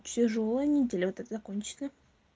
тяжёлая неделя вот эта закончена